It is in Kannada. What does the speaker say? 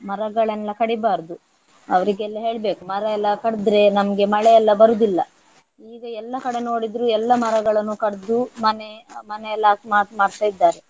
ಮರಗಳನ್ನೆಲ್ಲ ಕಡಿಬಾರ್ದು ಅವರಿಗೆಲ್ಲ ಹೇಳ್ಬೇಕು ಮರ ಎಲ್ಲ ಕಡ್ದ್ರೆ ನಮ್ಗೆ ಮಳೆ ಎಲ್ಲ ಬರುವುದಿಲ್ಲ. ಈಗ ಎಲ್ಲಾ ಕಡೆ ನೋಡಿದ್ರು ಎಲ್ಲ ಮರಗಳನ್ನು ಕಡ್ದು ಮನೆ ಮನೆ ಎಲ್ಲ ಮಾಕ್~ ಮಾಡ್ತಾ ಇದ್ದಾರೆ.